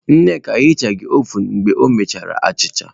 Nneka ehichaghi ovun mgbe o mechara achịcha.